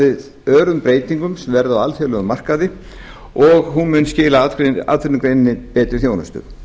við örum breytingum sem verða á alþjóðlegum markaði og hún muni skila atvinnugreininni betri þjónustu